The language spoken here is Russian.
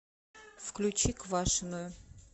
включи квашеную